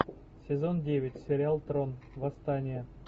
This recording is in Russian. сезон девять сериал трон восстание